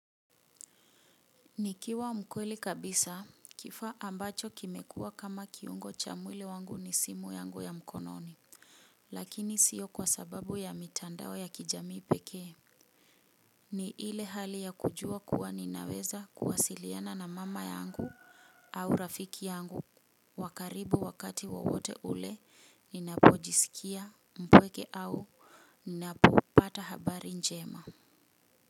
Nikiwa mkweli kabisa kifaa ambacho kimekua kama kiungo cha mwili wangu ni simu yangu ya mkononi. Lakini sio kwa sababu ya mitandao ya kijamii pekee. Ni ile hali ya kujua kuwa ninaweza kuwasiliana na mama yangu au rafiki yangu wa karibu wakati wowote ule ninapojisikia mpweke au ninapopata habari njema.